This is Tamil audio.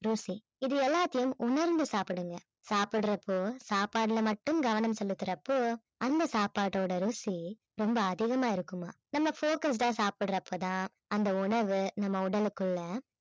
ருசி இது எல்லாத்தையும் உணர்ந்து சாப்பிடுங்க, சாப்பிடறப்போ சாப்பாட்டில மட்டும் கவனம் செலுத்துறப்போ அந்த சாப்பாட்டோட ருசி ரொம்ப அதிகமா இருக்குமாம். நம்ம focused ஆ சாப்பிட்ற அப்ப தான் அந்த உணவு நம்ம உடலுக்குள்ள